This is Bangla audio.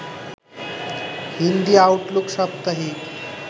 হিন্দি আউটলুক সাপ্তাহিক